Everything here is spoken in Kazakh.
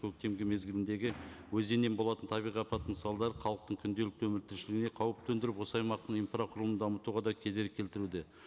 көктемгі мезгіліндегі өзеннен болатын табиғи апатының салдары халықтың күнделікті өмір тіршілігіне қауіп төндіріп осы аймақтың инфрақұрылымын дамытуға да кедергі келтіруде